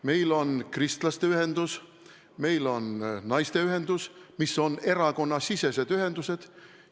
Meil on Kristlaste Ühendus, meil on Naisteühendus, mis on erakonnasisesed ühendused.